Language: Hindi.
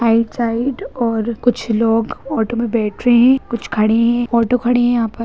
राइट साइड और कुछ लोग ऑटो में बैठ रहें हैं कुछ खड़े हैं ऑटो खड़े हैं यहाँ पर।